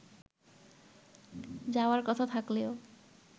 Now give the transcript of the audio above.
যাওয়ার কথা থাকলেও